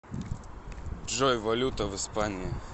джой валюта в испании